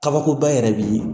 Kabakoba yɛrɛ bɛ yen